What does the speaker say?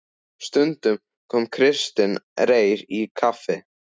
Stundum kom Kristinn Reyr í kaffi.